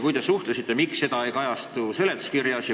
Kui te suhtlesite, siis miks see ei kajastu seletuskirjas?